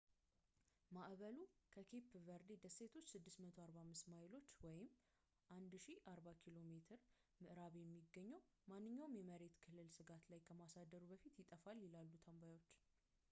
ማዕበሉ፣ ከኬፕ ቨርዴ ደሴቶች 645 ማይሎች 1040 ኪሜ ምዕራብ የሚገኘው፣ ማንኛውንም የመሬት ክልል ስጋት ላይ ከማሳደሩ በፊት ይጠፋል፣ ይላሉ ተንባዮች